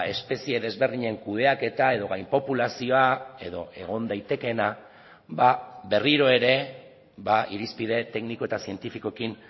espezie desberdinen kudeaketa edo gainpopulazioa edo egon daitekeena berriro ere irizpide tekniko eta zientifikoekin